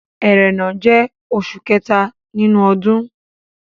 Ẹrẹ́nà jẹ́ oṣù kẹta nínú ọdún.